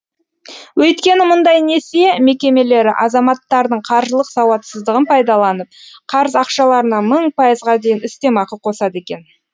өйткені мұндай несие мекемелері азаматтардың қаржылық сауатсыздығын пайдаланып қарыз ақшаларына мың пайызға дейін үстемақы қосады екен